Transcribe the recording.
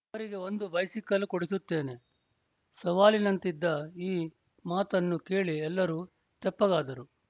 ಅವರಿಗೆ ಒಂದು ಬೈಸಿಕಲ್ ಕೊಡಿಸುತ್ತೇನೆ ಸವಾಲಿನಂತಿದ್ದ ಈ ಮಾತನ್ನು ಕೇಳಿ ಎಲ್ಲರೂ ತೆಪ್ಪಗಾದರು